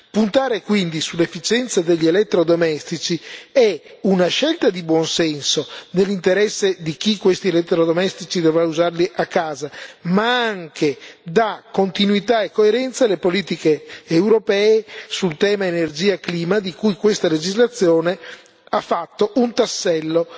Puntare quindi sull'efficienza degli elettrodomestici è una scelta di buonsenso, nell'interesse di chi questi elettrodomestici dovrà usarli a casa, ma anche dà continuità e coerenza alle politiche europee sul tema energia e clima di cui questa legislazione ha fatto un tassello